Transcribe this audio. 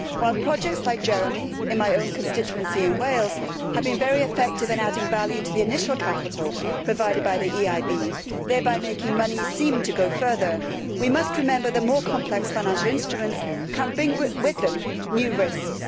While projects like Jeremie, in my own constituency in Wales, have been very effective in adding value to the initial capital provided by the EIB, thereby making money seem to go further, we must remember that more complex financial instruments can bring with them new risks.